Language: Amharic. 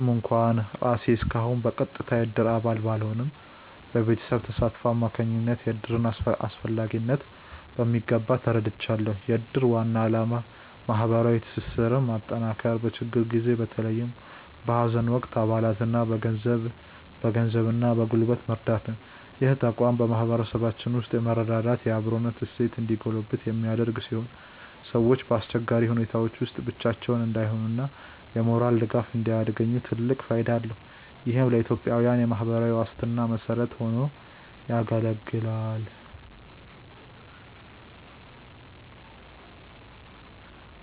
ምንም እንኳን እኔ ራሴ እስካሁን በቀጥታ የእድር አባል ባልሆንም፣ በቤተሰቤ ተሳትፎ አማካኝነት የእድርን አስፈላጊነት በሚገባ ተረድቻለሁ። የእድር ዋና ዓላማ ማህበራዊ ትስስርን ማጠናከርና በችግር ጊዜ በተለይም በሀዘን ወቅት አባላትን በገንዘብና በጉልበት መርዳት ነው። ይህ ተቋም በማህበረሰባችን ውስጥ የመረዳዳትና የአብሮነት እሴት እንዲጎለብት የሚያደርግ ሲሆን፣ ሰዎች በአስቸጋሪ ሁኔታዎች ውስጥ ብቻቸውን እንዳይሆኑና የሞራል ድጋፍ እንዲያገኙ ትልቅ ፋይዳ አለው። ይህም ለኢትዮጵያዊያን የማህበራዊ ዋስትና መሰረት ሆኖ ያገለግላል።